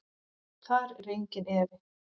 Þar er enginn efi.